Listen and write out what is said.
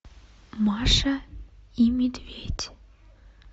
маша и медведь